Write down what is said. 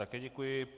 Také děkuji.